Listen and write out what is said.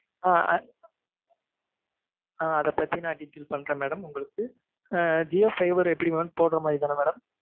ஆஹ் அதைப்பத்தி நா detail பண்றேன் madam உங்களுக்கு